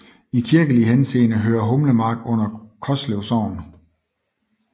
I kirkelig henseende hører Humlemark under Koslev Sogn